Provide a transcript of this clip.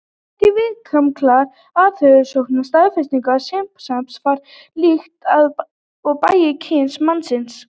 Fjölmargar viðamiklar atferlisrannsóknir staðfesta að simpansarnir fara líkt að og bæði kyn mannsins.